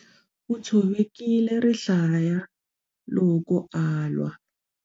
U tshovekile rihlaya loko a lwa.